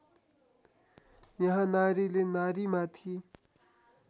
यहाँ नारीले नारीमाथि